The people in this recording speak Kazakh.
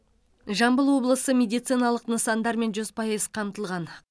жамбыл облысы медициналық нысандармен жүз пайыз қамтылған